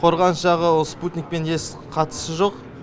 қорғаныс жағы ол спутникпен еш қатысы жоқ